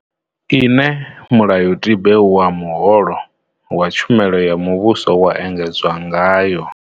Ine mulayotibe wa muholo wa tshumelo ya muvhuso wa engedzwa ngayo.